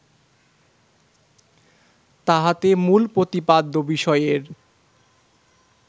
তাহাতে মূল প্রতিপাদ্য বিষয়ের